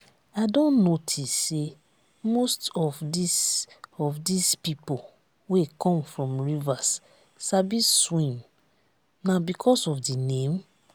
i don notice say most of dis of dis people wey come from rivers sabi swim na because of the name?